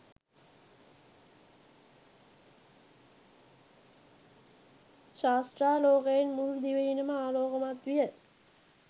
ශාස්ත්‍රාලෝකයෙන් මුළු දිවයිනම ආලෝකමත් විය.